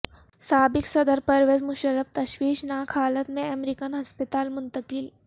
سابق صدر پرویز مشرف تشویشناک حالت میں امریکن ہسپتال منتقل